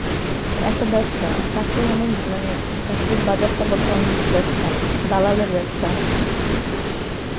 একটা ব্যবসা, চাকরি মানে মানে চাকরির বাজারটা বর্তমানে ব্যবসা, দালালের ব্যবসা.